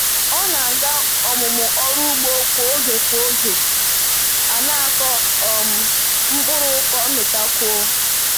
Ọ na-aga ọmụmụ ọrụ ugbo kwa oge kwa oge a na-akọ um mkpụrụ ka o mụtakwuo.